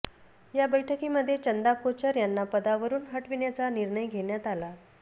या बैठकीमध्ये चंदा कोचर यांना पदावरून हटविण्याचा निर्णय घेण्यात आला